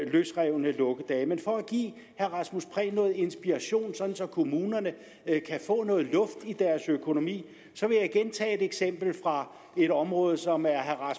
løsrevne lukkedage men for at give herre rasmus prehns noget inspiration sådan at kommunerne kan få noget luft i deres økonomi vil jeg igen tage et eksempel fra et område som er herre